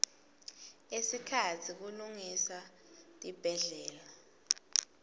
ekhatsi kulungisa tibhedlela